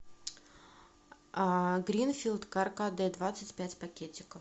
гринфилд каркаде двадцать пять пакетиков